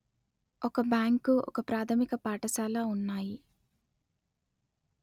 ఒక బ్యాంకు ఒక ప్రాధమిక పాఠశాల ఉన్నాయి